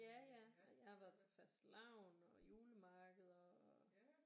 Ja ja og jeg har været til fastelavn og julemarkeder og